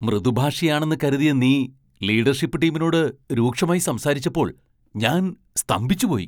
മൃദുഭാഷിയാണെന്ന് കരുതിയ നീ ലീഡർഷിപ്പ് ടീമിനോട് രൂക്ഷമായി സംസാരിച്ചപ്പോൾ ഞാൻ സ്തംഭിച്ചുപോയി.